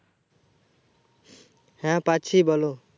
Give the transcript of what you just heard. হ্যাঁ পাচ্ছি বোলো